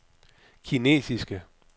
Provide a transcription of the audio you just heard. kinesiske